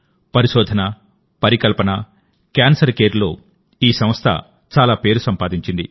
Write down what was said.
పరిశోధన పరికల్పన క్యాన్సర్ కేర్లోఈ సంస్థ చాలా పేరు సంపాదించింది